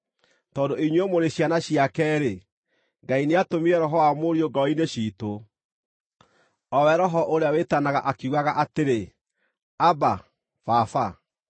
Tondũ inyuĩ mũrĩ ciana ciake-rĩ, Ngai nĩatũmire Roho wa Mũriũ ngoro-inĩ ciitũ, o we Roho ũrĩa wĩtanaga ũkiugaga atĩrĩ, “Abba, Baba.”